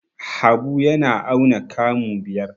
Habu yana auna kamu biyar.